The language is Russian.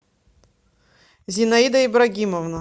зинаида ибрагимовна